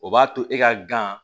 O b'a to e ka gan